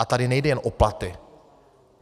A tady nejde jen o platy.